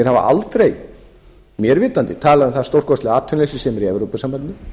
hafa aldrei mér vitandi talað um það stórkostlega atvinnuleysi sem er í evrópusambandinu